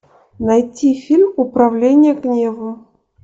найти фильм управление гневом